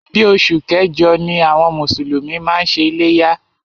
Bí oṣù kẹjọ ni àwọn mùsùlùmí máa ń ṣe iléyá.